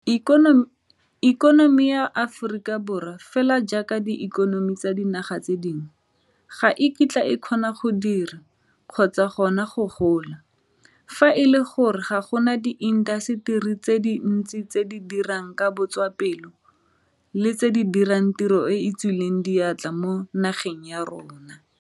Ikonomi ya naga ya Aforika Borwa, fela jaaka diikonomi tsa dinaga tse dingwe, ga e kitla e kgona go dira, kgotsa gona go gola, fa e le gore ga go na diintaseteri tse dintsi tse di dirang ka botswapelo le tse di dirang tiro e e tswileng diatla mo nageng ya rona.